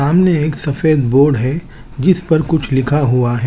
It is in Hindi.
सामने एक सफेद बोर्ड है जिस पर कुछ लिखा हुआ है।